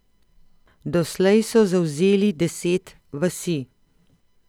Doslej so zavzeli deset vasi.